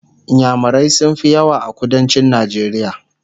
inyamurai sun Fi yawa a kuduncin najeriya